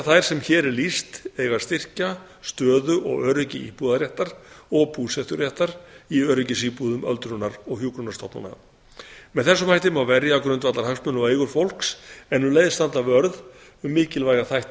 þær sem hér er lýst eiga að styrkja stöðu og öryggi íbúðarréttar og búseturéttar í öryggisíbúðum öldrunar og hjúkrunarstofnana með þessum hætti má verja grundvallarhagsmuni og eigur fólks en um leið standa vörð um mikilvæga þætti